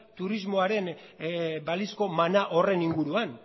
turismoaren balizko mana horren inguruan